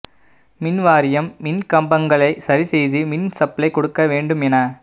மின்வாரியம் மின்கம்பங்களை சரி செய்து மின் சப்ளை கொடுக்க வேண்டும் என